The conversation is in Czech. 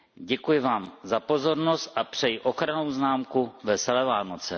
Děkuji vám za pozornost a přeji ochrannou známku Veselé Vánoce.